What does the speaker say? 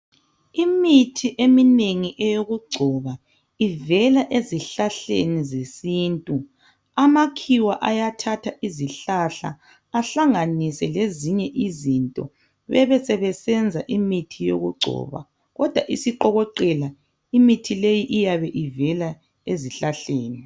Imithi eminengi eyokugcoba ivela ezihlahleni zesintu, amakhiwa ayathatha izihlahla ahlanganise lezinye izinto bebesebesenza imithi yokugcoba kodwa isiqokoqela imithi leyi iyabe ivela ezihlahleni